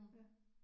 Ja